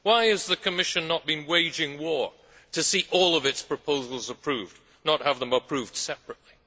Why has the Commission not been waging war to see all of its proposals approved, and not have them approved separately?